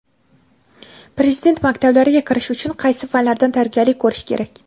Prezident maktablariga kirish uchun qaysi fanlardan tayyorgarlik ko‘rish kerak?.